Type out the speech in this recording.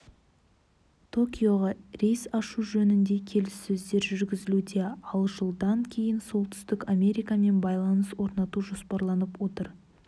токиоға рейс ашу жөнінде келіссөздер жүргізілуде ал жылдан кейін солтүстік америкамен байланыс орнату жоспарланып отыр